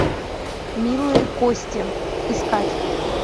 милые кости искать